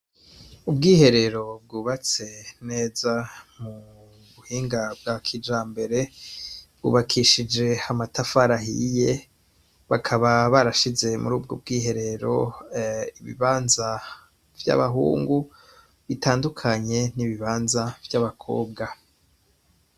Ubwiherero bwubatse neza mu buhinga bwa kijambere; bwubakishije amatafari ahiye; bakaba barashize muri ubwo bwiherero ibibanza vy'abahungu bitandukanye n'ibibanza vy'abakobwa.